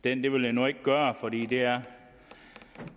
den det vil jeg nu ikke gøre for det er